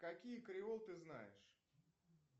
какие креол ты знаешь